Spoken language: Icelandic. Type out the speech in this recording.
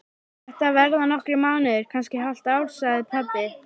Þetta verða nokkrir mánuðir, kannski hálft ár, sagði pabbi.